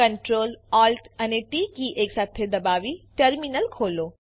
Ctrl Alt અને T key એકસાથે દબાવી ટર્મીનલ ખોલો